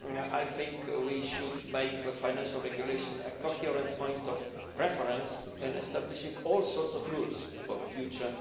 I think we should make the Financial Regulation a coherent point of reference in establishing all sorts of rules for the future.